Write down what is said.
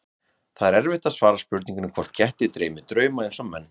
Það er erfitt að svara spurningunni hvort ketti dreymi drauma eins og menn.